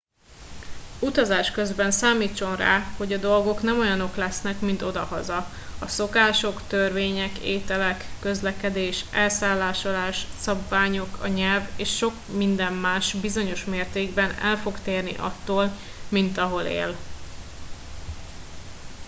utazás közben számítson rá hogy a dolgok nem olyanok lesznek mint odahaza a szokások törvények ételek közlekedés elszállásolás szabványok a nyelv és sok minden más bizonyos mértékben el fog térni attól mint ahol él